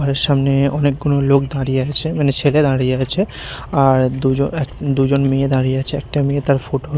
ঘরের সামনে অনেকগুলো লোক দাঁড়িয়ে আছে মানে ছেলে দাঁড়িয়ে আছে আর দুজ-এক-দু'জন মেয়ে দাঁড়িয়ে আছে একটা মেয়ে তার ফটো --